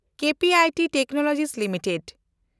KPIT technology limited